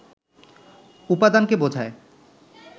উপাদানকে বোঝায়